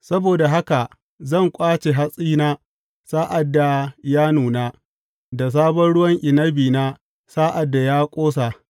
Saboda haka zan ƙwace hatsina sa’ad da ya nuna, da sabon ruwan inabina sa’ad da ya ƙosa.